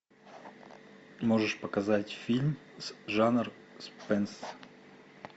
можешь показать фильм жанр спенс